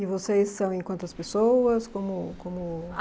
E vocês são em quantas pessoas? Como Como